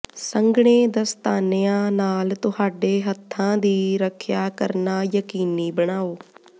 ਸੰਘਣੇ ਦਸਤਾਨਿਆਂ ਨਾਲ ਤੁਹਾਡੇ ਹੱਥਾਂ ਦੀ ਰੱਖਿਆ ਕਰਨਾ ਯਕੀਨੀ ਬਣਾਓ